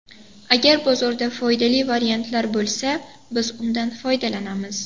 Agar bozorda foydali variantlar bo‘lsa, biz undan foydalanamiz.